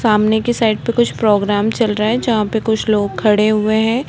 सामने की साइड पे कुछ प्रोग्राम चल रहा है। जहाँ पे कुछ लोग खड़े हुए हैं।